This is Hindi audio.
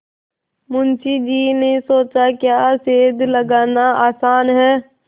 मुंशी जी ने सोचाक्या सेंध लगाना आसान है